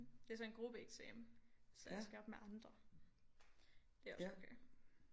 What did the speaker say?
Det er så en gruppeeksamen så jeg skal op med andre det er også okay